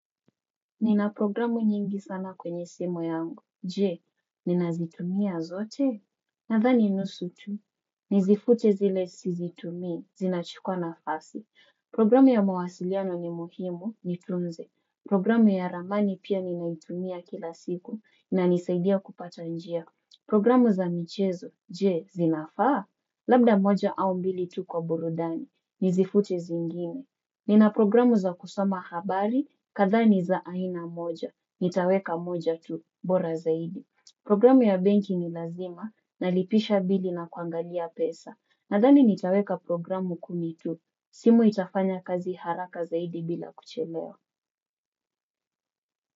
Nina programu nyingi sana kwenye simu yangu, jee, nina zitumia zote, nathani nusu tu, nizifute zile si zitummi, zinachikwa na fasi, programu ya mawasiliano ni muhimu, nitunze, programu ya ramani pia ninaitumia kila siku, na nisaidia kupata njia, programu za michezo, jee, zinafaa, labda moja au mbili tu kwa burudani, nizifute zingine, nina programu za kusoma habari, kadhaa ni za aina moja. Nitaweka moja tu, bora zaidi. Programu ya benki ni lazima, nalipisha bili na kuangalia pesa. Nadhani nitaweka programu kumi tu. Simu itafanya kazi haraka zaidi bila kuchelewa.